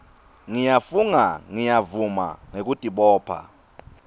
ngiyafunga ngiyavuma ngekutibopha